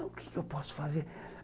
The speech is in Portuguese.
O que eu posso fazer?